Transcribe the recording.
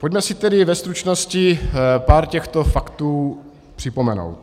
Pojďme si tedy ve stručnosti pár těchto faktů připomenout.